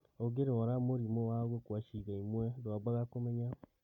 Ũngĩrwara mũrimũ wa gũkua ciĩga imwe ndwambaga kũmenya